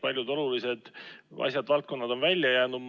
Paljud olulised asjad, valdkonnad on välja jäetud.